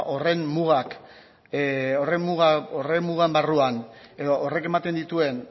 horren mugaren barruan edo horrek ematen dituen